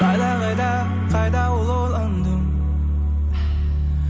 қайда қайда қайда ол орандың